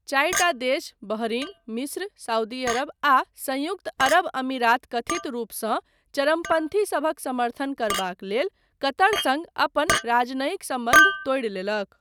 चारिटा देश, बहरीन, मिस्र, सऊदी अरब आ संयुक्त अरब अमीरात कथित रूपसँ 'चरमपन्थी' सभक समर्थन करबाक लेल कतर सङ्ग अपन राजनयिक सम्बन्ध तोड़ि लेलक।